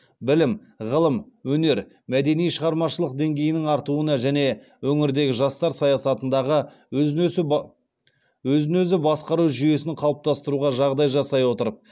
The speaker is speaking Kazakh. білім ғылым өнер мәдени шығармашылық деңгейінің артуына және өңірдегі жастар саясатындағы өзін өзі басқару жүйесін қалыптастыруға жағдай жасай отырып